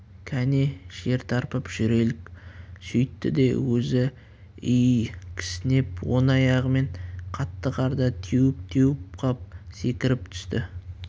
кәне жер тарпып жүрелік сөйтті де өзі и-и кісінеп оң аяғымен қатты қарды теуіп-теуіп қап секіріп түсті